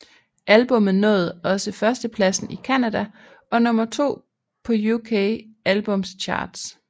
Albummet nåede også førstepladsen i Canada og nummer to på UK Albums Chart